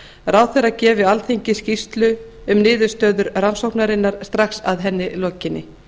ráðherra gefi alþingi skýrslu um niðurstöður rannsóknarinnar strax að henni lokinni